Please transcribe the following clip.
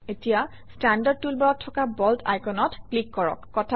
এতিয়া ষ্টেণ্ডাৰ্ড টুলবাৰত থকা বোল্ড আইকনত ক্লিক কৰক